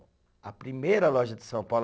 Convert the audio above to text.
A primeira loja de São Paulo.